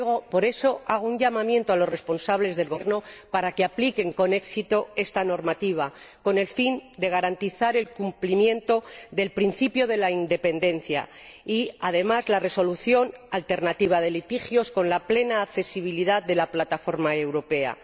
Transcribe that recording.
Por eso, hago un llamamiento a los responsables gubernamentales para que apliquen con éxito esta normativa, con el fin de garantizar el cumplimiento del principio de independencia y, además, la resolución alternativa de litigios con la plena accesibilidad de la plataforma europea.